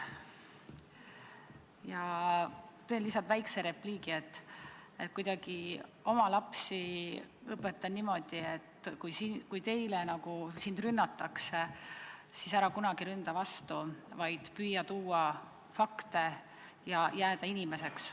Ma ütlen lihtsalt väikse repliigi: õpetan oma lapsi kuidagi niimoodi, et kui sind rünnatakse, siis ära kunagi ründa vastu, vaid püüa tuua fakte ja jääda inimeseks.